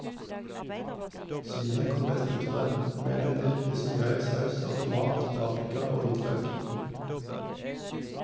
Svinet kom best ut av det, med en riktig så grei saus av tomat, paprika og hvitløk.